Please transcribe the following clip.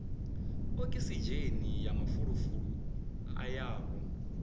okisidzheni na mafulufulu a yaho